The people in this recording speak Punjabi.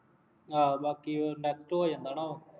ਹਾਂ ਬਾਕੀ ਉਹ next ਹੋ ਜਾਂਦਾ ਉਹ